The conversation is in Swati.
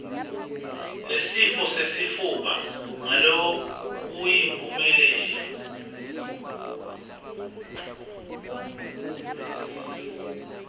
nesifo sesifuba ngalokuyimphumelelo